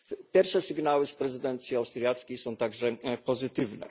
Pierwsze sygnały z prezydencji austriackiej są także pozytywne.